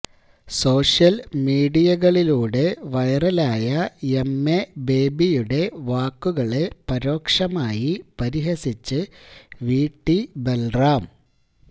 social മീഡിയകളിലൂടെ വൈറലായ M A ബേബിയുടെ വാക്കുകളെ പരോക്ഷമായി പരിഹസിച്ച് വിടി ബല്റാം